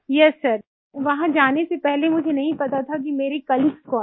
yes sir वहाँ जाने से पहले मुझे नहीं पता था कि मेरे कोलीग्स कौन है